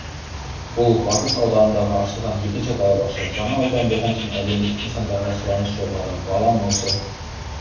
бұл батыс ауданында ашылған екінші балабақша жаңа аудан болған соң әлеуметтік нысандарға сұраныс жоғары балам осы